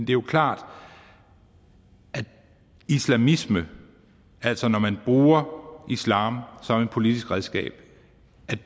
jo klart at islamisme altså når man bruger islam som et politisk redskab